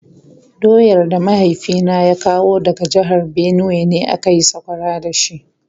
Doyar da mahaifina ya kawo daga jihar Benue ne aka yi sakwara da shi.